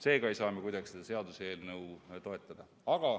Seega ei saa me kuidagi seda seaduseelnõu toetada.